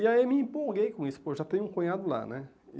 E aí me empolguei com isso, pô, já tenho um cunhado lá, né?